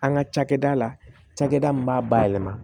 An ka cakɛda la cakɛda min b'a bayɛlɛma